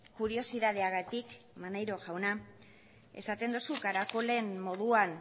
kuriosidadeagatik maneiro jauna esaten duzu karakolen